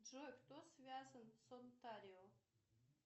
джой кто связан с онтарио